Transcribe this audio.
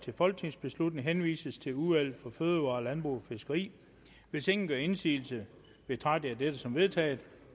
folketingsbeslutning henvises til udvalget for fødevarer landbrug og fiskeri hvis ingen gør indsigelse betragter jeg dette som vedtaget